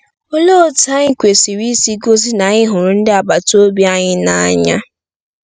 Olee otú anyị kwesịrị isi gosi na anyị hụrụ ndị agbata obi anyị n’anya?